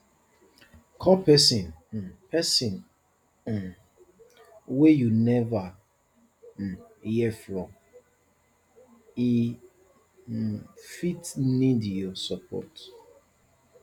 call pesin um pesin um wey you neva um hear from e um fit need your support